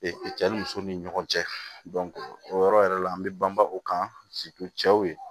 cɛ ni muso ni ɲɔgɔn cɛ o yɔrɔ yɛrɛ la an bɛ banba o kan cɛw ye